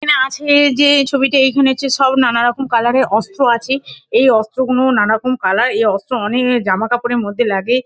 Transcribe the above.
এখানে আছে-এ যে ছবিটি এইখানে হচ্ছে সব নানারকম কালার -এর অস্ত্র আছে। এই অস্ত্র গুনো নানারকম কালার এই অস্ত্র অনে-এক জামাকাপড়ের মধ্যে লাগে।